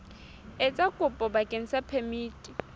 etsa kopo bakeng sa phemiti